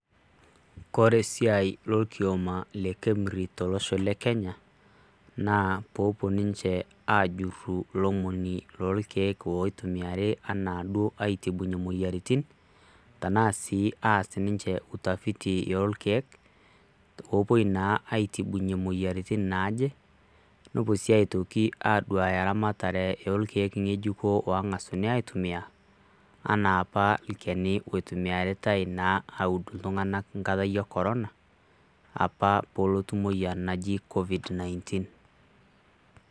Koree esiai orkiama le kemri tolosho le kenya naa pepuo ninche ajuru rkiek oitumiaki anaa duo aitibu moyiaritin tanaa aas ninche utafiti orkiek, opuoi naa aitubunye moyiaritin nepuoi si atoi aduaya eramatare orkiek ngejuko ongasai aitumia anaa apa olchani oitumia aud ltunganak enkata e corona abul naa moyian naji covid nineteen